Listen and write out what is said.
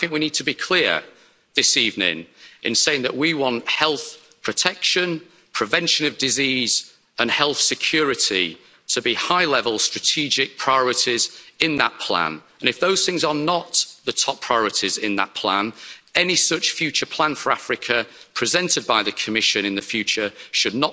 We need to be clear this evening in saying that we want health protection, prevention of disease and health security to be high-level strategic priorities in that plan, and if those things are not the top priorities in that plan, any such future plan for Africa presented by the Commission in the future should